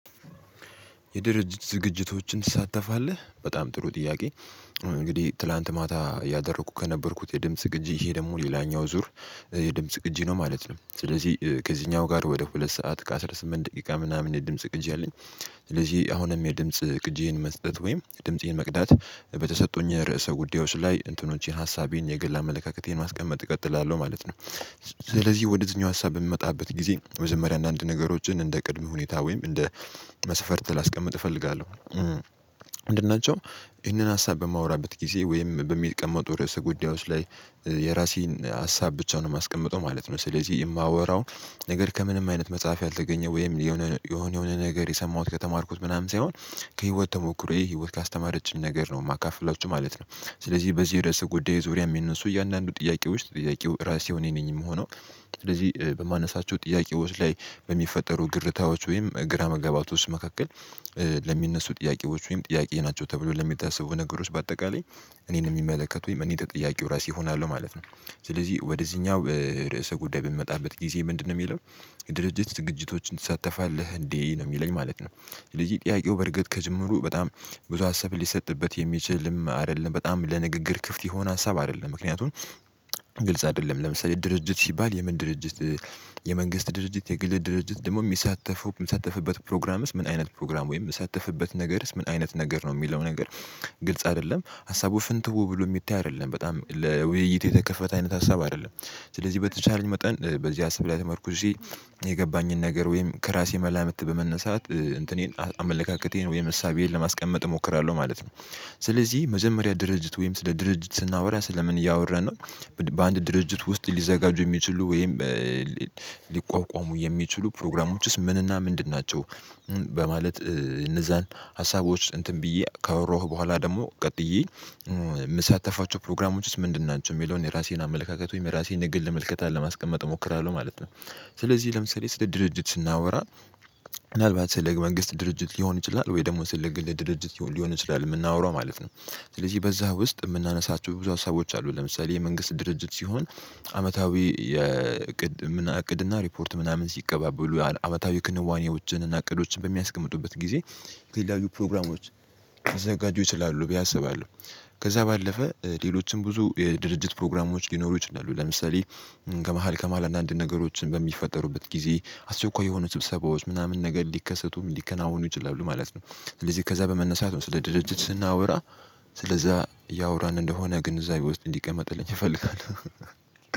የድርጅት ዝግጅቶችን ትሳተፋለህ በጣም ጥሩ ጥያቄ? እንግዲህ ትላንት ማታ እያደረኩ ከነበርኩት የድምጽ ቅጂ ይሄ ደግሞ ሌላኛው ዙር የድምጽ ቅጂ ነው ማለት ነው። ስለዚህ ከዚህኛው ጋር ወደ ሁለት ሰዓት ከአስራ ስምንት ደቂቃ ምናምን የድምጽ ቅጂ አለኝ። ስለዚህ አሁንም የድምጽ ቅጂዬን መስጠት ወይም ድምፄን መቅዳት በተሰጡኝ ርዕሰ ጉዳዮች ላይ እንትኖቼን ሀሳቤን የግል አመለካከቴን ማስቀመጥ እቀጥላለሁ ማለት ነው። ስለዚህ ወደዚህኛው ሀሳብ በምመጣበት ጊዜ የመጀመሪያ አንዳንድ ነገሮችን እንደ ቅድም ሁኔታ ወይም እንደ መሰፈርት ላስቀምጥ እፈልጋለሁ። ምንድንናቸው? ይህንን ሀሳብ በማወራበት ጊዜ ወይም በሚቀመጡ ርዕሰ ጉዳዮች ላይ የራሴን ሀሳብ ብቻ ነው የማስቀምጠው ማለት ነው። ስለዚህ የማወራው ነገር ከምንም አይነት መጽሐፍ ያልተገኘ ወይም የሆነ የሆነ ነገር የሰማሁት ከተማርኩት ምናምን ሳይሆን ከህይወት ተሞክሮዬ ህይወት ካስተማረችኝ ነገር ነው የማካፍላችሁ ማለት ነው። ስለዚህ በዚህ የርዕሰ ጉዳይ ዙሪያ የሚነሱ እያንዳንዱ ጥያቄዎች ጠያቂው ራሴው እኔ ነኝ የምሆነው። ስለዚህ በማነሳቸው ጥያቄዎች ላይ በሚፈጠሩ ግርታዎች ወይም ግራ መጋባቶች መካከል ለሚነሱ ጥያቄዎች ወይም ጥያቄ ናቸው ተብሎ ለሚታሰቡ ነገሮች በአጠቃላይ እኔን የሚመለከቱ ወይም እኔ ተጠያቂው ራሴ እሆናለሁ ማለት ነው። ስለዚህ ወደዚህኛው ርዕሰ ጉዳይ በምመጣበት ጊዜ ምንድነው የሚለው? የድርጅት ዝግጅቶችን ትሳተፋለህ እንዴ ነው የሚለኝ ማለት ነው። ስለዚህ ጥያቄው በርግጥ ከጅምሩ በጣም ብዙ ሀሳብ ሊሰጥበት የሚችልም አይደለም በጣም ለንግግር ክፍት የሆነ ሀሳብ አይደለም። ምክንያቱም ግልጽ አይደለም ለምሳሌ ድርጅት ሲባል የምን ድርጅት? የመንግስት ድርጅት የግል ድርጅት ደግሞ የሚሳተፉ የሚሳተፍበት ፕሮግራምስ ምን አይነት ፕሮግራም ወይም የሚሳተፍበት ነገርስ ምን አይነት ነገር ነው የሚለው ነገር? ግልጽ አይደለም ሀሳቡ ፍንትው ብሎ የሚታይ አይደለም በጣም ለውይይት የተከፈተ አይነት ሀሳብ አይደለም። ስለዚህ በተቻለኝ መጠን በዚህ ሀሳብ ላይ ተመርኩዤ የገባኝን ነገር ወይም ከራሴ መላምት በመነሳት እንትኔን አመለካከቴን ወይም እሳቤዬን ለማስቀመጥ እሞክራለሁ ማለት ነው። ስለዚህ መጀመሪያ ድርጅት ወይም ስለ ድርጅት ስናወራ ስለ ምን እያወራን ነው? በአንድ ድርጅት ውስጥ ሊዘጋጁ የሚችሉ ወይም ሊቋቋሙ የሚችሉ ፕሮግራሞችስ ምን እና ምንድን ናቸው? በማለት እነዛን ሀሳቦች እንትን ብዬ ካወራሁ በኋላ ደግሞ ቀጥዬ የምሳተፋቸው ፕሮግራሞች ውስጥ ምንድን ናቸው የሚለውን የራሴን አመለካከት ወይም የራሴን የግል ምልከታ ለማስቀመጥ እሞክራለሁ ማለት ነው። ስለዚህ ለምሳሌ ስለ ድርጅት ስናወራ ምናልባት ስለ መንግስት ድርጅት ሊሆን ይችላል ወይ ደግሞ ስለ ግል ድርጅት ሊሆን ይችላል የምናወራው ማለት ነው። ስለዚህ በዛ ውስጥ የምናነሳቸው ብዙ ሀሳቦች አሉ ለምሳሌ የመንግስት ድርጅት ሲሆን። አመታዊ የቅድም እቅድ እና ሪፖርት ምናምን ሲቀባበሉ ያህል አመታዊ ክንዋኔዎችን እና እቅዶችን በሚያስቀምጡበት ጊዜ የተለያዩ ፕሮግራሞች ሊዘጋጁ ይችላሉ ብዬ አስባለሁ። ከዛ ባለፈ ሌሎችም ብዙ የድርጅት ፕሮግራሞች ሊኖሩ ይችላሉ ለምሳሌ። ከመሃል ከመሃል አንዳንድ ነገሮችን በሚፈጠሩበት ጊዜ አስቸኳይ የሆኑ ስብሰባዎች ምናምን ነገር ሊከሰቱም ሊከናወኑ ይችላሉ ማለት ነው። ስለዚህ ከዛ በመነሳት ነው ስለ ድርጅት ስናወራ። ስለ እዛ እያወራን እንደሆነ ግንዛቤ ውስጥ እንዲቀመጥልኝ እፈልጋለሁ